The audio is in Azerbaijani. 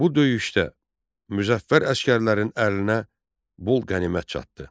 Bu döyüşdə müzəffər əsgərlərin əlinə bol qənimət çatdı.